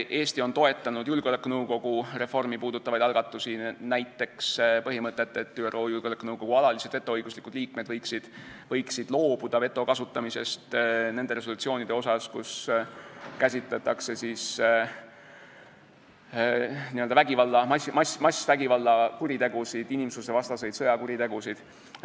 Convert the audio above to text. Eesti on toetanud julgeolekunõukogu reformi puudutavaid algatusi, näiteks põhimõtet, et ÜRO Julgeolekunõukogu alalised vetoõiguslikud liikmed võiksid loobuda veto kasutamisest nende resolutsioonide puhul, kus käsitletakse massikuritegusid, inimsusvastaseid sõjakuritegusid.